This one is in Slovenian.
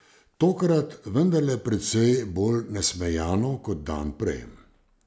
Tokrat vendarle precej bolj nasmejano kot dan prej.